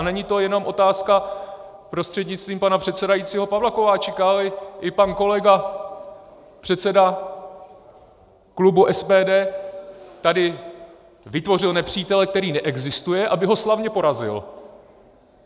A není to jenom otázka prostřednictvím pana předsedajícího Pavla Kováčika, ale i pan kolega předseda klubu SPD tady vytvořil nepřítele, který neexistuje, aby ho slavně porazil.